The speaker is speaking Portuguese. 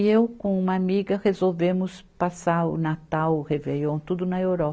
E eu, com uma amiga, resolvemos passar o Natal, o Réveillon, tudo na Euro.